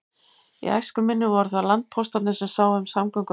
Í æsku minni voru það landpóstarnir sem sáu um samgöngur á landi.